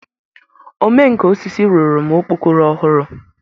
Ome nka osisi rụrụ m okpokoro ọhụrụ.